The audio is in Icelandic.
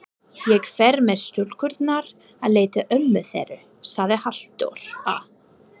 Ég fer með stúlkurnar að leita ömmu þeirra, sagði Halldóra.